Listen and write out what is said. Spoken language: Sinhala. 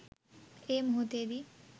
ඒ මොහොතේදී